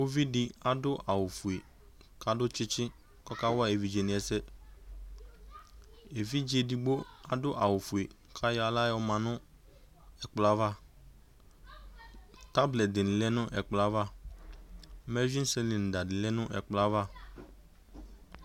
Uvidi adu awu ofue kadu tsitsi ku ɔkawa evidzedini ɛsɛ evidze edigbo adu awu ofue katani ayɔ aɣla yɔ ma nu ɛkplɔ ava tablɛti dini lɛ nu ɛkplɔ yɛ ava mɛsursɛda di lɛ nu ɛkplɔ yɛ ayava